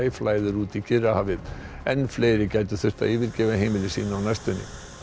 flæðir út í Kyrrahafið enn fleiri gætu þurft að yfirgefa heimili sín á næstunni